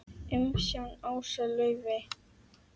Umsjón Ása Laufey og Ari.